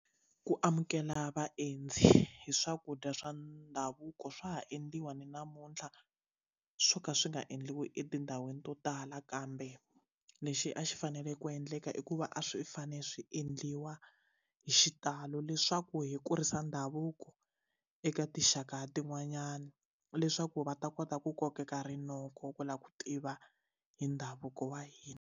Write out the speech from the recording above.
Ku amukela vaendzi hi swakudya swa ndhavuko swa ha endliwa ni namuntlha swo ka swi nga endliwi etindhawini to tala kambe lexi a xi fanele ku endleka i ku va a swi fane swi endliwa hi xitalo leswaku hi kurisa ndhavuko eka tinxaka tin'wanyana leswaku va ta kota ku kokeka rinoko ku la ku tiva hi ndhavuko wa hina.